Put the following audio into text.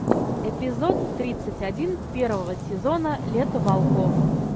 эпизод тридцать один первого сезона лето волков